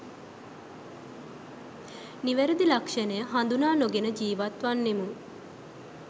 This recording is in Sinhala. නිවැරදි ලක්ෂණය හඳුනා නොගෙන ජීවත්වන්නෙමු.